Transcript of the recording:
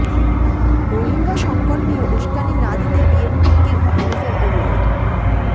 রোহিঙ্গা সংকট নিয়ে উসকানি না দিতে বিএনপিকে হানিফের অনুরোধ